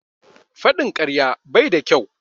Faɗin karya bai da kyau.